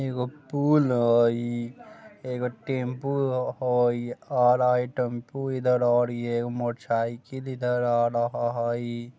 एगो पुल हई एगो टेम्पो ह-होई और आगे टेंपू इधर आ रही हई एगो मोटरसाइकिल इधर आ रहा हई।